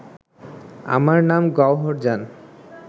আমার নাম গওহরজান